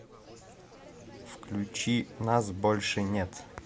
включи нас больше нет